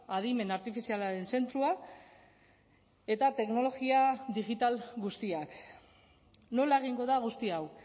adimen artifizialaren zentroa eta teknologia digital guztiak nola egingo da guzti hau